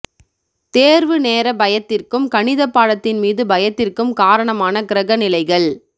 தேர்வு நேரப் பயத்திற்கும் கணித பாடத்தின் மீது பயத்திற்கும் காரணமான கிரக நிலைகள்